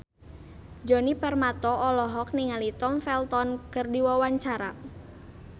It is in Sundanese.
Djoni Permato olohok ningali Tom Felton keur diwawancara